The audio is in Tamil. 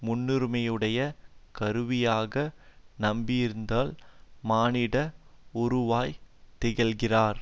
முன்னுரிமையுடைய கருவியாக நம்பியிருப்பதிலும் மானிட உருவாய் திகழ்கிறார்